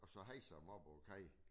Og så hejser dem op over kajen